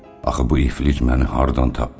Axı bu iflic məni hardan tapdı?